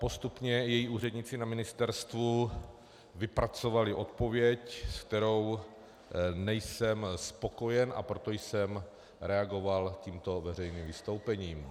Postupně její úředníci na ministerstvu vypracovali odpověď, se kterou nejsem spokojen, a proto jsem reagoval tímto veřejným vystoupením.